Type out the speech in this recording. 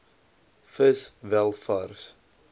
vis wel vars